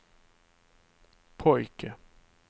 pojke